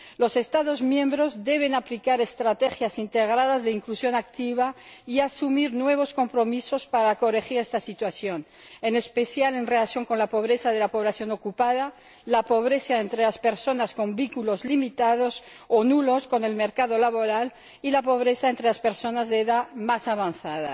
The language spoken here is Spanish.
Los Estados miembros deben aplicar estrategias integradas de inclusión activa y asumir nuevos compromisos para corregir esta situación, en especial en relación con la pobreza de la población ocupada, la pobreza entre las personas con vínculos limitados o nulos con el mercado laboral y la pobreza entre las personas de edad más avanzada.